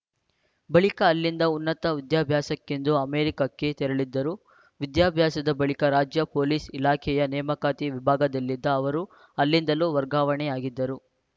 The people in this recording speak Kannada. ಬಳಿಕ ಅಲ್ಲಿಂದ ಉನ್ನತ ವಿದ್ಯಾಭ್ಯಾಸಕ್ಕೆಂದು ಅಮೆರಿಕಕ್ಕೆ ತೆರಳಿದ್ದರು ವಿದ್ಯಾಭ್ಯಾಸದ ಬಳಿಕ ರಾಜ್ಯ ಪೊಲೀಸ್‌ ಇಲಾಖೆಯ ನೇಮಕಾತಿ ವಿಭಾಗದಲ್ಲಿದ್ದ ಅವರು ಅಲ್ಲಿಂದಲೂ ವರ್ಗಾವಣೆಯಾಗಿದ್ದರು